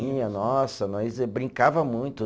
Tinha, nossa, nós brincava muito.